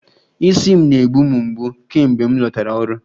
Isi m na-egbu m mgbu kemgbe m lọtara ọrụ